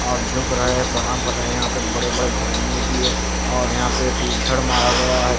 आप झुक रहे हैं प्रणाम कर रहे है यहा पे बड़े बड़े भगोने भी है और यहां पे टिन शेड मारा गया है।